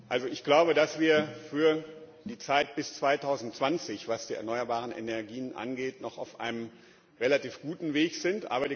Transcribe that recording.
Also ich glaube, dass wir für die Zeit bis 2020, was die erneuerbaren Energien angeht, noch auf einem relativ guten Weg sind.